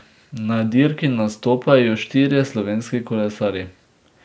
Na dirki nastopajo štirje slovenski kolesarji.